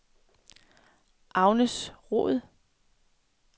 Agnes Roed